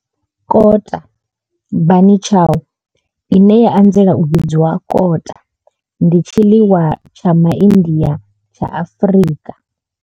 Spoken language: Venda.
Kota bunny chow, ine ya anzela u vhidzwa kota, ndi tshiḽiwa tsha Ma India tsha Afrika.